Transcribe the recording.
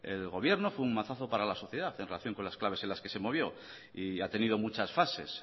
el gobierno fue un mazazo para la sociedad en relación con las claves en las que se movió y ha tenido muchas fases